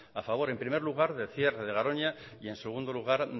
a favor en primer lugar del cierre de garoña y en segundo lugar